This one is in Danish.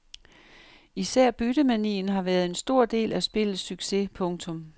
Især byttemanien har været en stor del af spillets succes. punktum